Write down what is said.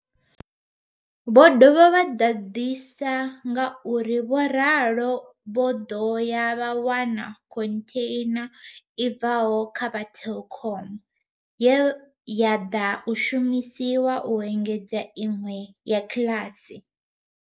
Vho dovha vha ḓadzisa nga uri Vho Ralo vho ḓo ya vha wana khontheina i bvaho kha vha Telkom ye ya ḓa shumiswa u engedza iṅwe ya kiḽasi.